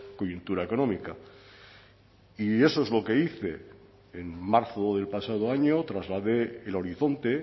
coyuntura económica y eso es lo que hice en marzo del pasado año trasladé el horizonte